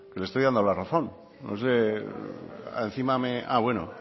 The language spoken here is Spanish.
le estoy dando la razón no sé encima ah bueno